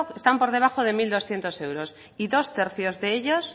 están por debajo de mil doscientos euros y dos tercios de ellos